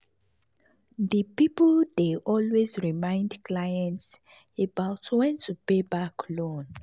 di money people dey always remind clients about when to pay back loan.